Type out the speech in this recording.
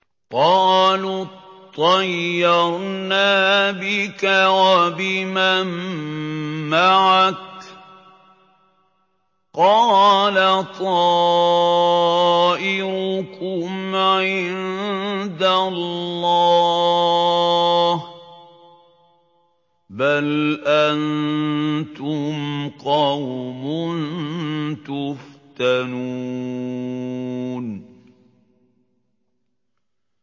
قَالُوا اطَّيَّرْنَا بِكَ وَبِمَن مَّعَكَ ۚ قَالَ طَائِرُكُمْ عِندَ اللَّهِ ۖ بَلْ أَنتُمْ قَوْمٌ تُفْتَنُونَ